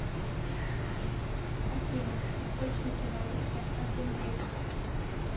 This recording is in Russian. афина источники науки о земле